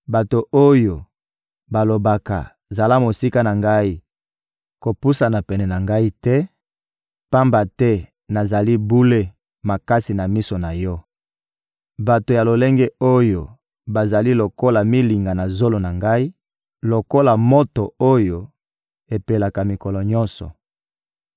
bato oyo balobaka: ‹Zala mosika na Ngai, kopusana pene na Ngai te, pamba te nazali bule makasi na miso na yo!› Bato ya lolenge oyo bazali lokola milinga na zolo na Ngai, lokola moto oyo epelaka mikolo nyonso.